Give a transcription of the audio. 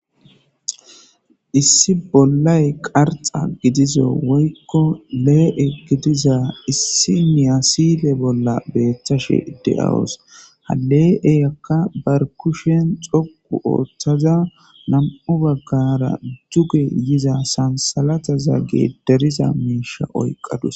Issi bolay qarxa gidiza Woyko le'e gidiza idsi lastiqe bolla betashe daws ha betizaraka bar kushe dhoqu othada nam"u bagara tukoy diza danthalata miisha oykadus.